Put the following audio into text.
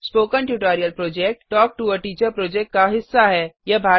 spoken tutorial project talk to a teacher project का हिस्सा है